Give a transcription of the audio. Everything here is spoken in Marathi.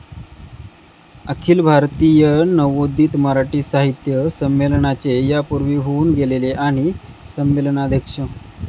अखिल भारतीय नवोदित मराठी साहित्य संमेलनाचे यापूर्वी होऊन गेलेले आणि संमेलनाध्यक्ष